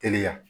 Teliya